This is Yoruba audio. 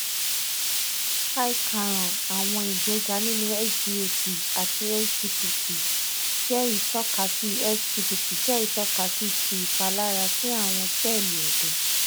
hi karan awọn igbega ninu sgot ati sgpt jẹ itọkasi sgpt jẹ itọkasi ti ipalara si awọn sẹẹli ẹdọ